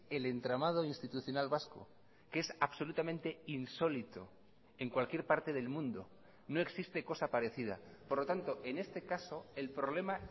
el entramado institucional vasco que es absolutamente insólito en cualquier parte del mundo no existe cosa parecida por lo tanto en este caso el problema